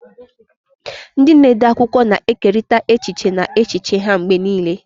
Ndị na-ede akwụkwọ na-ekerịta echiche na echiche ha mgbe niile.